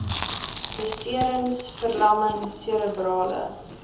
beserings verlamming serebrale